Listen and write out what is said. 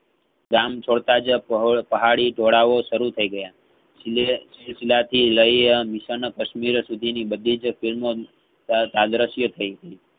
ગામછોડતા જ પહો પહાડી ડોળાઓસરું થઈગયા સીલીયેસિલસિલાતી લ્યે mission કાશ્મીર સુધીની બધીજ film કા~કાગર્ષય થઈગઈ.